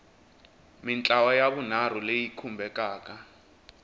mintlawa ya vunharhu leyi khumbekaka